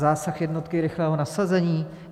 Zásah jednotky rychlého nasazení?